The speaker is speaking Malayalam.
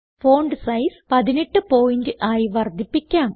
ഫോണ്ട് സൈസ് 18 പോയിന്റ് ആയി വർദ്ധിപ്പിക്കാം